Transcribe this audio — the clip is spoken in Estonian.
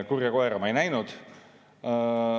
Kurja koera ma ei näinud.